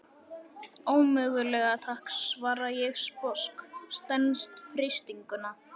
Ómögulega takk, svara ég sposk, stenst freistinguna.